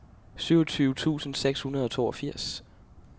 syvogtyve tusind seks hundrede og toogfirs